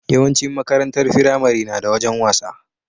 Yawan cin makarantar firamare nada wajan wasa